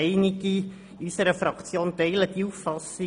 Einige Mitglieder unserer Fraktion teilen diese Auffassung.